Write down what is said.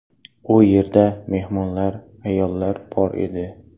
U yerda mehmonlar, ayollar bor edi.